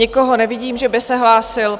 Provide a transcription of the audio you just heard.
Nikoho nevidím, že by se hlásil.